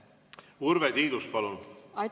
Urve Tiidus, palun!